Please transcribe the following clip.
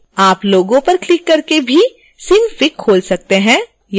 आप logo पर click करके भी synfig खोल सकते हैं